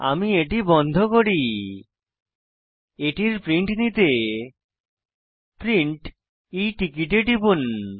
আমি এটি বন্ধ করি এটির প্রিন্ট নিতে প্রিন্ট e টিকেট এ টিপুন